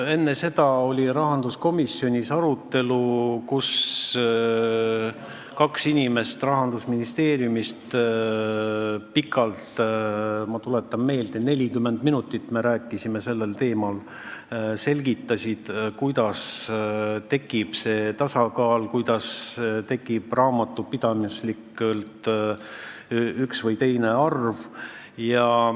Enne seda oli rahanduskomisjonis arutelu, kus kaks Rahandusministeeriumi inimest selgitasid pikalt – ma tuletan meelde, et me rääkisime sellel teemal 40 minutit –, kuidas tekib tasakaal, kuidas tekib raamatupidamislikult üks või teine arv.